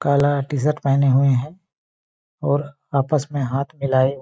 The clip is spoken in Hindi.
काला टी_शर्ट पहने हुए है और आपस में हाथ मिलाए--